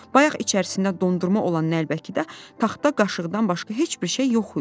Bayaq içərisində dondurma olan nəlbəkidə taxta qaşıqdan başqa heç bir şey yox idi.